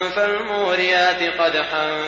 فَالْمُورِيَاتِ قَدْحًا